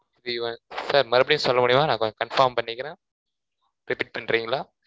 three onesir மறுபடியும் சொல்ல முடியுமா? நான் கொஞ்சம் confirm பண்ணிக்கிறேன் repeat பண்றீங்களா?